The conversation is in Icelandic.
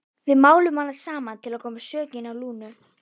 Þórhallur Jósefsson: Og er það á þessu almanaksári?